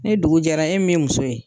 Ni dugu jɛra e min ye muso ye